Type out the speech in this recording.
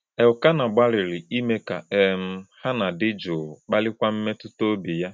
Elkanah gbalịrị ime ka um Hannạ dị jụụ, kpalikwa mmetụta obi ya.